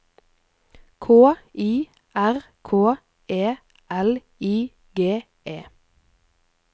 K I R K E L I G E